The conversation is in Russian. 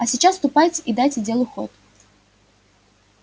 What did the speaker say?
а сейчас ступайте и дайте делу ход